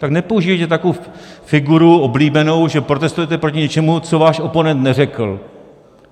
Tak nepoužívejte takovou figuru, oblíbenou, že protestujete proti něčemu, co váš oponent neřekl.